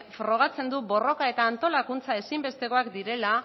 frogatzen du borroka eta antolakuntza ezinbestekoak direla